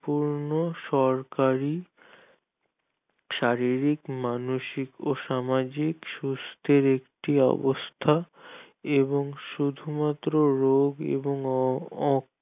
সম্পূর্ণ সরকারি শারীরিক মানসিক ও সামাজিক শুষ্ঠের একটি অবস্থা এবং শুধু মাত্র রোগ এবং